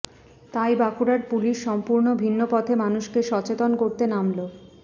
তাই বাঁকুড়ার পুলিশ সম্পূর্ণ ভিন্নপথে মানুষকে সচেতন করতে নামলো